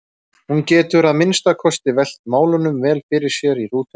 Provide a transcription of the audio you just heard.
Hún getur að minnsta kosti velt málunum vel fyrir sér í rútunni.